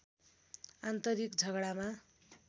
आन्तरिक झगडामा